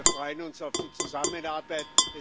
Wir freuen uns auf die Zusammenarbeit.